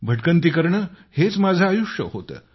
भटकंती करणे हेच माझे आयुष्य होते